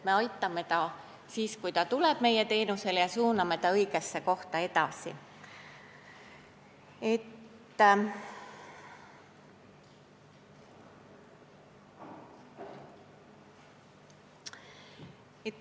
Me aitame teda, kui ta tuleb meie teenusele, ja suuname ta õigesse kohta edasi.